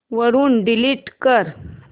वरून डिलीट कर